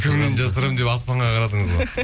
кімнен жасырамын деп аспанға қарадыңыз ғой